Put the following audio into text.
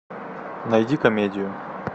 найди комедию